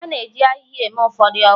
A na-eji ahịhịa eme ụfọdụ ọgwụ